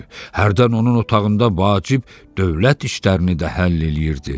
Hərdən onun otağında vacib dövlət işlərini də həll eləyirdi.